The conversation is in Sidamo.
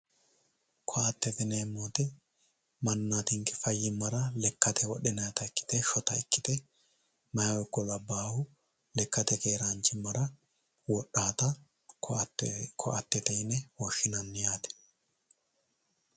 Ko"attete yineemmo woyte manninatinke fayyimmara lekkate wodhinayta ikkite shota ikkite mayihu ikko labbaahu lekkate keeraanchimmara wodhaata ko"attete yine woshshinanni yaate